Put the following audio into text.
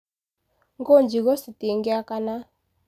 Ngũ njigũ citingĩakana.